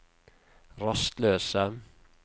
rastløse